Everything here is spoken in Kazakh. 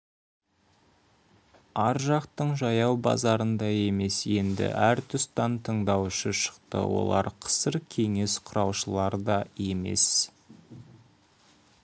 ар жақтың жаяу базарындай емес енді әр тұстан тыңдаушы шықты олар қысыр кеңес құрушылар да емес